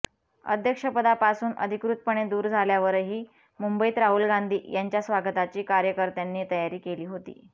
अध्यक्षपदापासून अधिकृतपणे दूर झाल्यावरही मुंबईत राहुल गांधी यांच्या स्वागताची कार्यकर्त्यांनी तयारी केली होती